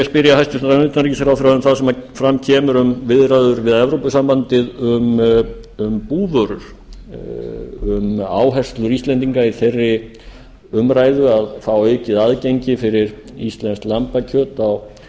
spyrja hæstvirtan utanríkisráðherra um það sem fram kemur um viðræður við evrópusambandið um búvörur um áherslur íslendinga í þeirri umræðu að fá aukið aðgengi fyrir íslenskt lambakjöt